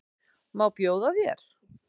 Má bjóða þér?